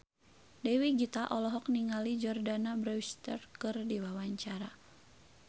Dewi Gita olohok ningali Jordana Brewster keur diwawancara